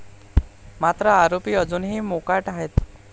मात्र आरोपी अजूनही मोकाट आहेत.